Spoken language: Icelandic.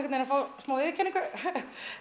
að fá smá viðurkenningu